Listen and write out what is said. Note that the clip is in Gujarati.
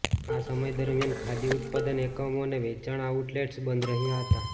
આ સમય દરમિયાન ખાદી ઉત્પાદન એકમો અને વેચાણ આઉટલેટ્સ બંધ રહ્યા હતા